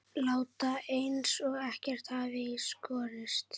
Láta eins og ekkert hafi í skorist.